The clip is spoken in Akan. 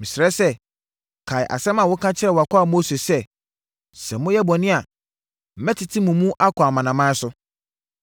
“Mesrɛ sɛ, kae asɛm a woka kyerɛɛ wʼakoa Mose sɛ, ‘Sɛ moyɛ bɔne a, mɛtete mo mu akɔ amanaman so.